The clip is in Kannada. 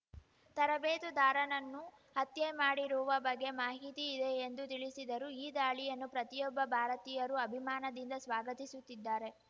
ತರಬೇತುದಾರನನ್ನು ಹತ್ಯೆ ಮಾಡಿರುವ ಬಗ್ಗೆ ಮಾಹಿತಿ ಇದೆ ಎಂದು ತಿಳಿಸಿದರು ಈ ದಾಳಿಯನ್ನು ಪ್ರತಿಯೊಬ್ಬ ಭಾರತೀಯರೂ ಅಭಿಮಾನದಿಂದ ಸ್ವಾಗತಿಸುತ್ತಿದ್ದಾರೆ